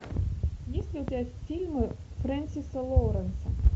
есть ли у тебя фильмы фрэнсиса лоуренса